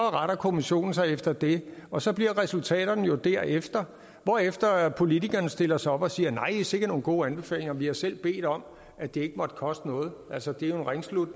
retter kommissionen sig efter det og så bliver resultaterne jo derefter hvorefter politikerne stiller sig op og siger nej sikke nogle gode anbefalinger vi har selv bedt om at det ikke måtte koste noget altså det er jo